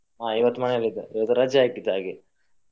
ಹಾ ಇವತ್ತು ಮನೇಲಿ ಇದ್ದೇನೆ ಇವತ್ತು ರಜೆ ಹಾಕಿದ್ದು ಹಾಗೆ.